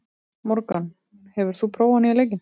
Morgan, hefur þú prófað nýja leikinn?